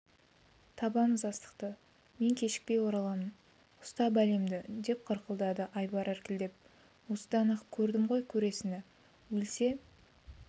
табамыз астықты мен кешікпей ораламын ұста бәлемді деп қырылдады айбар іркілдеп осыдан-ақ көрдім ғой көресіні өлсе